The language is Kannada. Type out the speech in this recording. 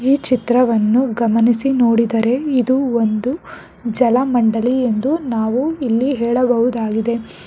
ಈ ಚಿತ್ರವನ್ನು ಗಮನಿಸಿ ನೋಡಿದರೆ ಇದು ಒಂದು ಜಲ ಮಂಡಳಿ ಎಂದು ನಾವು ಇಲ್ಲಿ ಹೇಳಬಹುದಾಗಿದೆ.